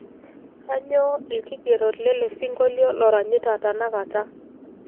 kanyoo ilkigerot lele sinkolio loranyita tenakata